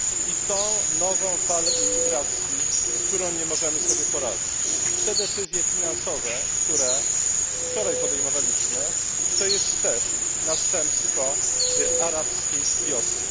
I to nową falę imigracji, z którą nie możemy sobie poradzić. Te decyzje finansowe, które wczoraj podejmowaliśmy, to jest też następstwo arabskiej wiosny.